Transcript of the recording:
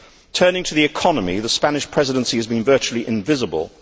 Turning to the economy, the Spanish Presidency has been virtually invisible.